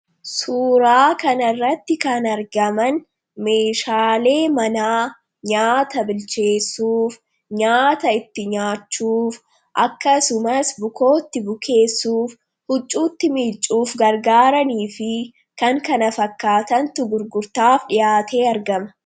Suuraa kanarratti kan argaman meeshaalee manaa nyaata bilcheessuuf ,nyaata itti nyaachuuf, akkasumas bukoo itti bukeessuuf, huccuu itti miiccuuf gargaaranii fi kan kana fakkaatantu gurgurtaaf dhiyaatee argama.